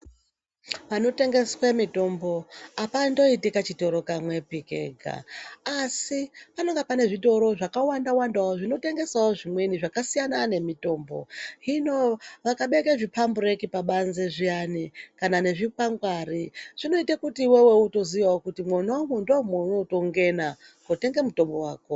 Panotengeswa mitombo hapandoiti kachitoro kamwepi kega, asi panenge pane zvitoro zvakawanda-wandawo zvinotengesavo zvimweni zvakasiyana nemitombo. Zvino vakabeka zvipambureki pabanze zviyani kana nezvikwangwari zvinoita kuti iveve utozviyavo kuti mwonamwo ndomaunotongena kotenga mutombo vako.